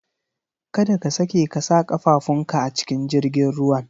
Kada ka sake ka sa ƙafafun ka a cikin jirgin ruwan